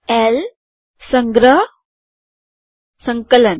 L સંગ્રહ સંકલન